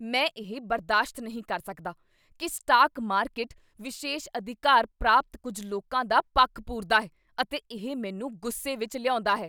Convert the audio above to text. ਮੈਂ ਇਹ ਬਰਦਾਸ਼ਤ ਨਹੀਂ ਕਰ ਸਕਦਾ ਕੀ ਸਟਾਕ ਮਾਰਕੀਟ ਵਿਸ਼ੇਸ਼ ਅਧਿਕਾਰ ਪ੍ਰਾਪਤ ਕੁੱਝ ਲੋਕਾਂ ਦਾ ਪੱਖ ਪੂਰਦਾ ਹੈ ਅਤੇ ਇਹ ਮੈਨੂੰ ਗੁੱਸੇ ਵਿੱਚ ਲਿਆਉਂਦਾ ਹੈ।